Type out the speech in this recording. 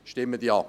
Stimmen Sie Ja!